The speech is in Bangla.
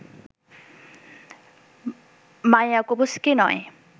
মায়াকোভস্কি নয়